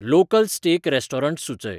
local steak restaurants सुचय